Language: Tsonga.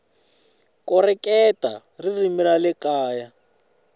koreketa ririmi ra le kaya